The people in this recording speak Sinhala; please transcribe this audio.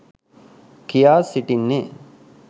කියා සිටින්නේ.